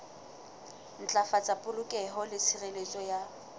ntlafatsa polokeho le tshireletso ya